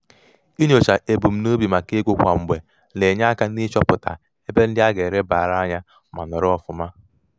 inyocha ebumnobi maka ego kwa mgbe na-enye aka n'ịchọpụta ebe ndị a ga-elebara anya ma nọrọ ọfụma.